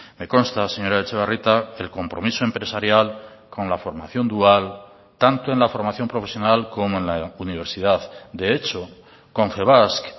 me consta señora etxebarrieta el compromiso empresarial con la formación dual tanto en la formación profesional como en la universidad de hecho confebask